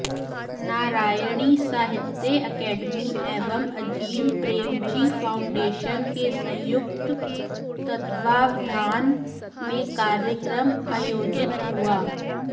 नारायणी साहित्य अकादमी एवं अजीम प्रेमजी फाउंडेशन के संयुक्त तत्वावधान में कार्यक्रम आयोजित हुआ